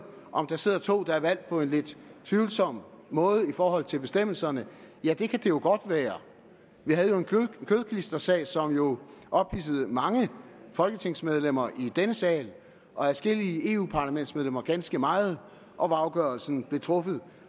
om der sidder to der er valgt på en lidt tvivlsom måde i forhold til bestemmelserne ja det kan jo godt være vi havde jo en kødklistersag som jo ophidsede mange folketingsmedlemmer i denne sal og adskillige europaparlamentsmedlemmer ganske meget og hvor afgørelsen blev truffet